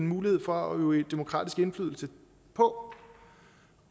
mulighed for at øve demokratisk indflydelse på